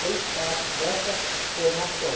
fez parte dessa formação.